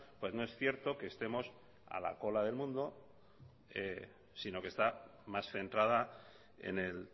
pues no es cierto que estemos a la cola del mundo sino que está más centrada en el